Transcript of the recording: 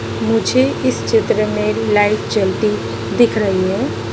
मुझे इस चित्र में लाइट जलती दिख रही है।